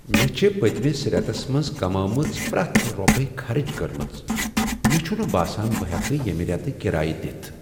مےٚ چھ پٔتمِس ریتس منٛز کمٲومٕژ پریتھ روپیہ خرٕچ کٔرمٕژ ۔مے٘ چھٗنہٕ باسان بہٕ ہیکہٕ ییٚمہ ریتہٕ کرایہ دِتھ ۔